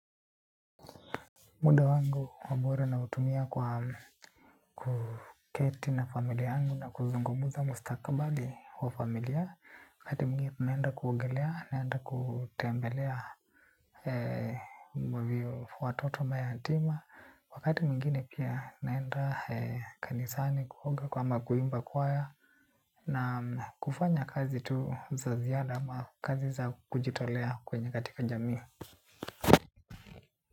Muda wangu wa bure nautumia kwa kuketi na familia yangu na kuzungumuza mustakabali wa familia. Wakati mwingine naenda kuogelea naenda kutembelea walio watoto mayatima. Wakati mwingine pia naenda kanisani kuoga kama kuimba kwaya na kufanya kazi tu za ziada ama kazi za kujitolea kwenye katika jami.